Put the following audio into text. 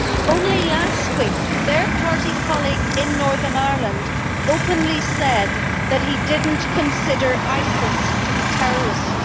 Only last week, their party colleague in Northern Ireland openly said that he did not consider ISIS to be terrorists.